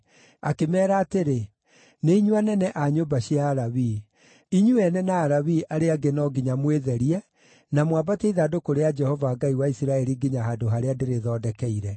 Akĩmeera atĩrĩ, “Nĩ inyuĩ anene a nyũmba cia Alawii; inyuĩ ene na Alawii arĩa angĩ no nginya mwĩtherie na mwambatie ithandũkũ rĩa Jehova Ngai wa Isiraeli nginya handũ harĩa ndĩrĩthondekeire.